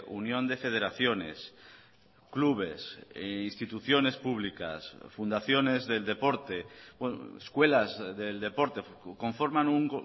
unión de federaciones clubes instituciones públicas fundaciones del deporte escuelas del deporte conforman un